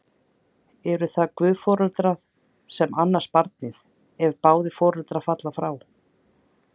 Eru það guðforeldrar sem annast barnið, ef báðir foreldrar falla frá?